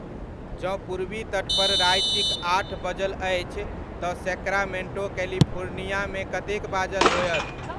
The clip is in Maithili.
जँ पूर्वी तट पर रातिक आठ बजल अछि तऽ सैक्रामेंटो कैलिफोर्नियामे कतेक बाजल होयत?